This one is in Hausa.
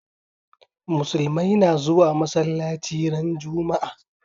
Musulmai na zuwa masalaci ran juma'a